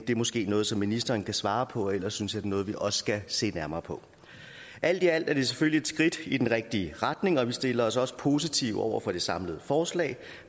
det er måske noget som ministeren kan svare på og ellers synes er noget vi også skal se nærmere på alt i alt er det selvfølgelig et skridt i den rigtige retning vi stiller os også positive over for det samlede forslag